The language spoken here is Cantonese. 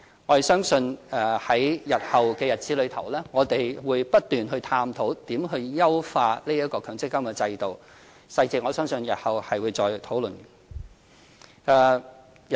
我們相信在日後的日子裏，我們會不斷探討如何優化強積金制度，我相信日後會再討論細節。